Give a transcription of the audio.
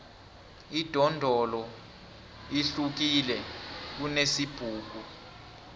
idondolo lihlukile kunesibhuku